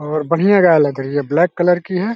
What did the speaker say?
और बढ़ियां गाय लग रही है ब्लैक कलर की है।